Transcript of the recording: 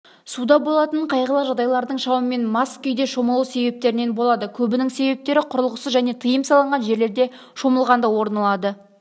суда болатын қайғылы жағдайлардың шамамен мас күйде шомылу себептерінен болады көбінің себептері құрылғысыз және тыйым салынған жерлерде шомылғанда орын алады